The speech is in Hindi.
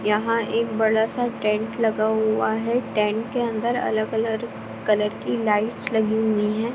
यहाँ एक बड़ा सा टेंट लगा हुआ है टेंट के अन्दर अलग-अलग कलर की लाइटस लगी हुई हैं।